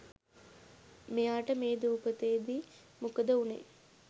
මෙයාට මේ දූපතේදි මොකද වුනේ